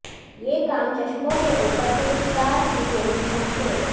یہ کام چشموں کے اوپر پرستار کی پوزیشن سے